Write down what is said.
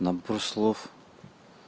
набор слов